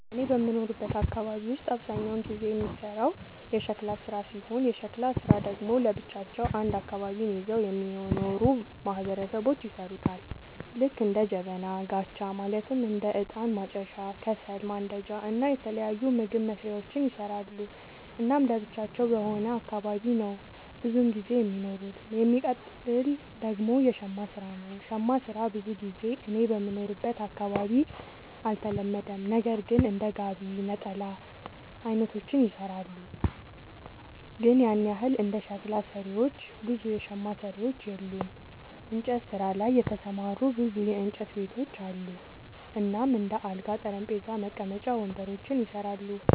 እኔ በምኖርበት አካባቢ ውስጥ አብዛኛውን ጊዜ የሚሰራው የሸክላ ስራ ሲሆን የሸክላ ስራ ደግሞ ለብቻቸው አንድ አካባቢን ይዘው የሚኖሩ ማህበረሰቦች ይሠሩታል ልክ እንደ ጀበና፣ ጋቻ ማለትም እንደ እጣን ማጨሻ፣ ከሰል ማንዳጃ እና የተለያዩ ምግብ መስሪያዎችን ይሰራሉ። እናም ለብቻቸው በሆነ አካባቢ ነው ብዙም ጊዜ የሚኖሩት። የሚቀጥል ደግሞ የሸማ ስራ ነው, ሸማ ስራ ብዙ ጊዜ እኔ በምኖርበት አካባቢ አልተለመደም ነገር ግን እንደ ጋቢ፣ ነጠላ አይነቶችን ይሰራሉ አለ ግን ያን ያህል እንደ ሸክላ ሰሪዎች ብዙ የሸማ ሰሪዎች የሉም። እንጨት ስራ ላይ የተሰማሩ ብዙ የእንጨት ቤቶች አሉ እናም እንደ አልጋ፣ ጠረጴዛ፣ መቀመጫ ወንበሮችን ይሰራሉ።